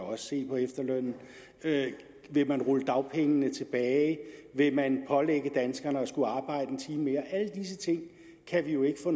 se på efterlønnen vil man rulle dagpengene tilbage vil man pålægge danskerne at skulle arbejde en time mere alle disse ting kan vi jo ikke få